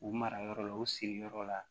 U mara yɔrɔ la u siri yɔrɔ la